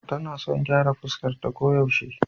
Tana son gyara fuskarta koyaushe.